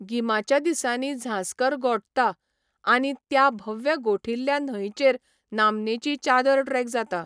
गिमाच्या दिसांनी झांस्कर गोठता आनी ह्या भव्य गोठिल्ल्या न्हंयचेर नामनेची चादर ट्रेक जाता.